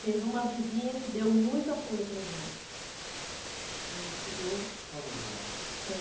Teve uma vizinha que deu muito apoio para a gente, quando chegou... Qual o nome dela? É